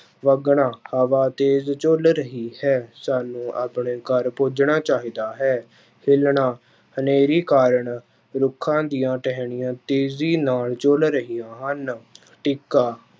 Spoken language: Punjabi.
ਵਗਣਾ ਹਵਾ ਤੇਜ ਝੁੱਲ ਰਹੀ ਹੈ, ਸਾਨੂੰ ਆਪਣੇ ਘਰ ਪੁੱਜਣਾ ਚਾਹੀਦਾ ਹੈ, ਹਿੱਲਣਾ, ਹਨੇਰੀ ਕਾਰਨ ਰੁੱਖਾਂ ਦੀਆਂ ਟਹਿਣੀਆਂ ਤੇਜੀ ਨਾਲ ਝੁੱਲ ਰਹੀਆਂ ਹਨ ਟਿੱਕਾ